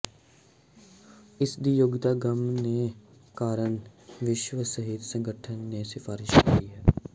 ਇਸ ਦੀ ਯੋਗਤਾ ਗੱਮ ਦੇ ਕਾਰਨ ਵਿਸ਼ਵ ਸਿਹਤ ਸੰਗਠਨ ਨੇ ਸਿਫਾਰਸ਼ ਕੀਤੀ ਹੈ